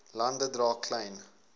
lande dra klein